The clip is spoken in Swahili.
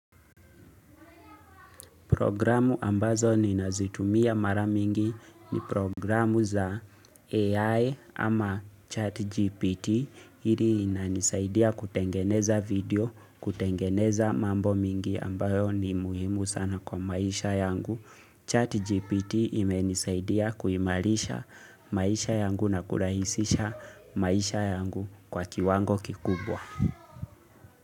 Programu ambazo ninazitumia mara mingi ni programu za AI ama chat GPT hili inanisaidia kutengeneza video kutengeneza mambo mingi ambayo ni muhimu sana kwa maisha yangu. Chat GPT imenisaidia kuimarisha maisha yangu na kurahisisha maisha yangu kwa kiwango kikubwa.